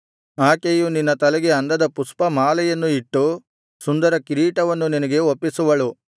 ಆಕೆಯು ನಿನ್ನ ತಲೆಗೆ ಅಂದದ ಪುಷ್ಪಮಾಲೆಯನ್ನು ಇಟ್ಟು ಸುಂದರ ಕಿರೀಟವನ್ನು ನಿನಗೆ ಒಪ್ಪಿಸುವಳು